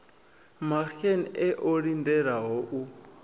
maxenn e o lindelaho u